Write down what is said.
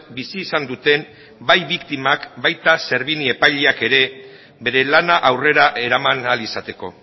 bizi izan duten bai biktimak baita servini epaileak ere bere lana aurrera eraman ahal izateko